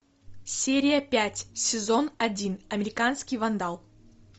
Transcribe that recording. серия пять сезон один американский вандал